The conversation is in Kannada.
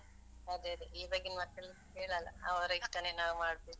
ಅದೇ ಅದೇ ಇವಾಗಿನ್ ಮಕ್ಳ್ ಕೇಳಲ್ಲ, ಅವ್ರ್ ಇಷ್ಟನೇ ನಾವ್ ಮಾಡ್ಬೇಕು.